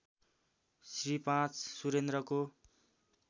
Shri ५ सुरेन्द्रको